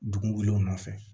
Dugu welew nɔfɛ